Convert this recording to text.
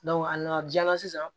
a nana ja sisan